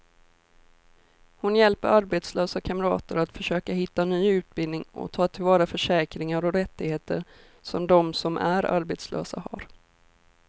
Hon hjälper arbetslösa kamrater att försöka hitta ny utbildning och ta till vara försäkringar och rättigheter som de som arbetslösa har.